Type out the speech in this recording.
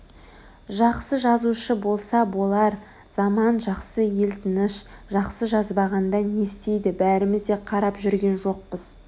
жақсы жазушы болса болар заман жақсы ел тыныш жақсы жазбағанда не істейді бәріміз де қарап жүрген жоқпыз